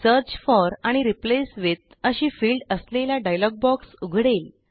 search forआणि replace with अशी field असलेला डायलॉग बॉक्स उघडेल